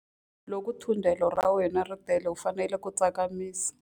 Loko thundelo ra wena ri tele u fanele ku tsakamisa.